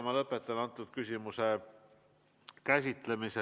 Ma lõpetan selle küsimuse käsitlemise.